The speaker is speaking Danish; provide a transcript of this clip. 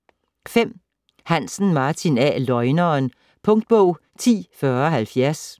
Hansen, Martin A.: Løgneren Punktbog 104070